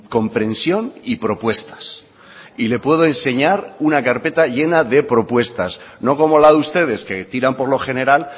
comprensión y propuestas y le puedo enseñar una carpeta llena de propuestas no como la de ustedes que tiran por lo general